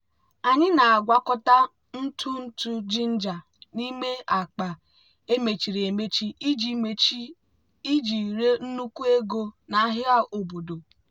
anyị na-agwakọta ntụ ntụ ginger n'ime akpa emechiri emechi iji emechi iji ree nnukwu ego n'ahịa obodo.